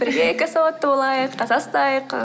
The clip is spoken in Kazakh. бірге экосауатты болайық таза ұстайық